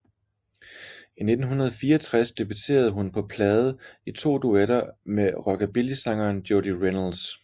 I 1964 debuterede hun på plade i to duetter med rockabillysangeren Jody Reynolds